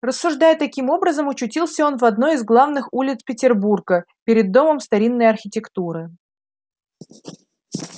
рассуждая таким образом очутился он в одной из главных улиц петербурга перед домом старинной архитектуры